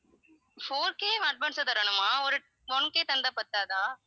four K advance ஆ தரணுமா ஒரு one K தந்தா பத்தாதா